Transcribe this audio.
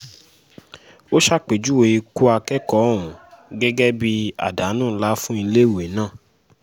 ó ṣàpèjúwe ikú akẹ́kọ̀ọ́ ọ̀hún gẹ́gẹ́ bíi àdánù ńlá fún iléèwé náà